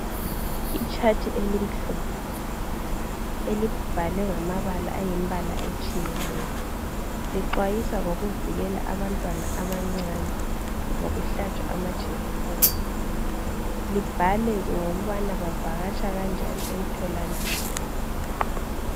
Ichart elimhlophe elibhalwe ngamabala ayimbala etshiyeneyo, lixwayisa ngokuvikela abantwana abancane ngokuhlatshwa amajekiseni libhale ngokubana bavakatsha kanjani emtholampilo.